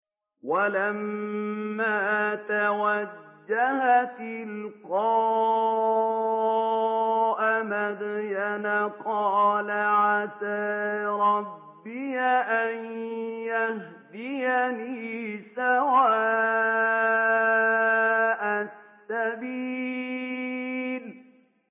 وَلَمَّا تَوَجَّهَ تِلْقَاءَ مَدْيَنَ قَالَ عَسَىٰ رَبِّي أَن يَهْدِيَنِي سَوَاءَ السَّبِيلِ